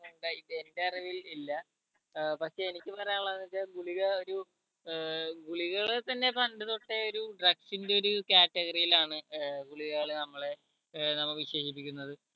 ഇണ്ടായിട്ട് എന്റെ അറിവിൽ ഇല്ല ഏർ പക്ഷെ എനിക്ക് പറയാനിള്ളത് വെച്ച ഗുളിക ഒരു ഏർ ഗുളികകളിൽ തന്നെ പണ്ട് തൊട്ടേ ഒരു drugs ന്റെ ഒരു category ൽ ആണ് ഏർ ഗുളികകൾ നമ്മളെ ഏർ നമ്മ വിശേഷിപ്പിക്കുന്നത്